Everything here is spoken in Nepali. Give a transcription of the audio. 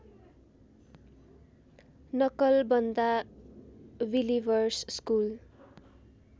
Nakalbanda believers school